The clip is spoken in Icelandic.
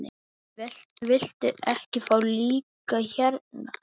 Viltu ekki fá líka hérna?